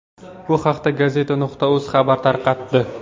Bu haqda gazeta.uz xabar tarqatdi.